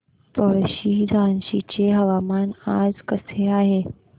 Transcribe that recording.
पळशी झाशीचे हवामान आज कसे आहे